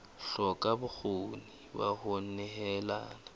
hloka bokgoni ba ho nehelana